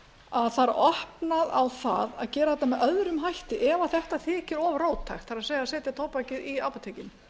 að það er opnað á það að gera þetta með öðrum hætti ef þetta þykir of róttækt það er setja tóbakið í apótekin